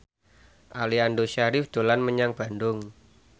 Aliando Syarif dolan menyang Bandung